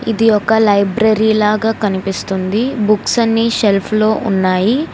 ఇది ఒక లైబ్రరీ లాగా కనిపిస్తుంది బుక్స్ అన్ని షెల్ఫ్ లో ఉన్నాయి.